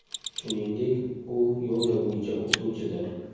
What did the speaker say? Shuningdek, u yoga bo‘yicha o‘qituvchidir.